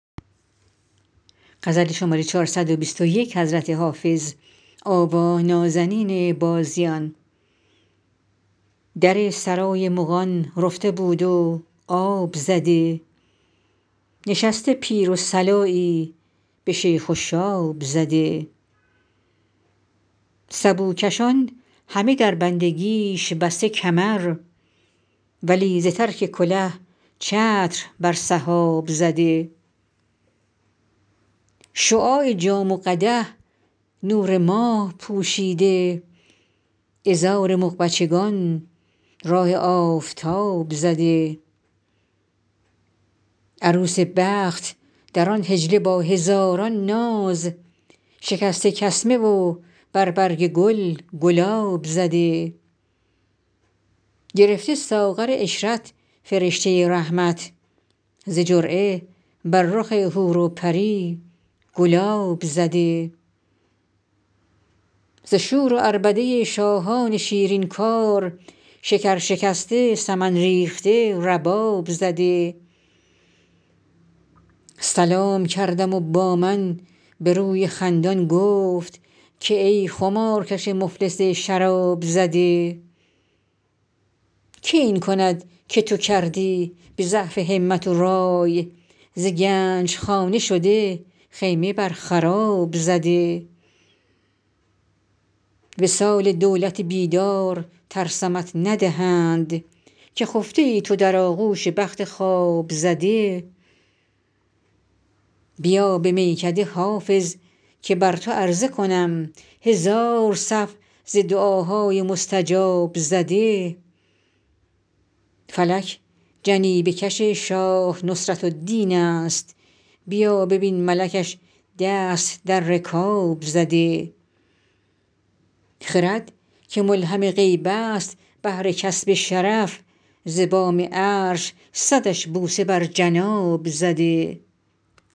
در سرای مغان رفته بود و آب زده نشسته پیر و صلایی به شیخ و شاب زده سبوکشان همه در بندگیش بسته کمر ولی ز ترک کله چتر بر سحاب زده شعاع جام و قدح نور ماه پوشیده عذار مغ بچگان راه آفتاب زده عروس بخت در آن حجله با هزاران ناز شکسته کسمه و بر برگ گل گلاب زده گرفته ساغر عشرت فرشته رحمت ز جرعه بر رخ حور و پری گلاب زده ز شور و عربده شاهدان شیرین کار شکر شکسته سمن ریخته رباب زده سلام کردم و با من به روی خندان گفت که ای خمارکش مفلس شراب زده که این کند که تو کردی به ضعف همت و رای ز گنج خانه شده خیمه بر خراب زده وصال دولت بیدار ترسمت ندهند که خفته ای تو در آغوش بخت خواب زده بیا به میکده حافظ که بر تو عرضه کنم هزار صف ز دعاهای مستجاب زده فلک جنیبه کش شاه نصرت الدین است بیا ببین ملکش دست در رکاب زده خرد که ملهم غیب است بهر کسب شرف ز بام عرش صدش بوسه بر جناب زده